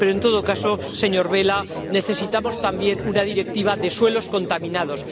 Pero en todo caso, señor Vella, necesitamos también una Directiva sobre suelos contaminados.